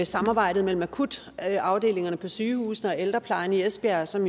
samarbejdet mellem akutafdelingerne på sygehusene og ældreplejen i esbjerg som